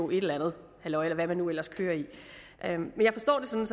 et andet halløj eller hvad man nu ellers kører i men jeg forstår svaret